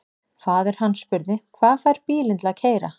Faðir hann spurði: Hvað fær bílinn til að keyra?